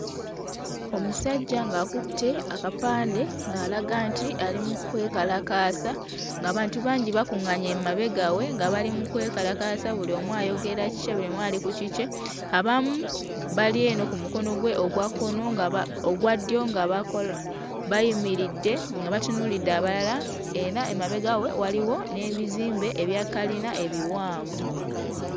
Omusajja ng'akutte akapande ng'alaga nti ali mu kwekalakaasa ng'abantu bangi bakuᵑᵑaanye emabega we nga bali mu kwekalakaasa buli omu ayogera kikye buli omu ali ku kikye; abamu bali eno ku mukono gwe ogwa kkono nga ba ogwa ddyo nga bako bayimiridde nga batunuulidde abalala era emabega we waliwo n'ebizimbe ebya kalina ebiwanvu.